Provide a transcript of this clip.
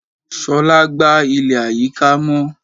Shola gba ile ayika mọ.